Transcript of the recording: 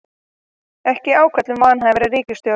Ekki ákall um vanhæfari ríkisstjórn